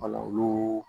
Wala olu